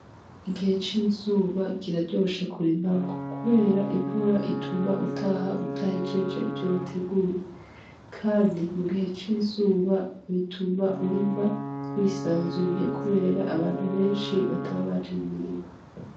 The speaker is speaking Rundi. Igihe c'izuba kiraryoshe kurimamwo kubera imvura ituma utaha udahejeje ivyo wateguye. Kandi mu gihe c'izuba, bituma urima wisanzuye kubera abantu benshi bataba baje mu mirima.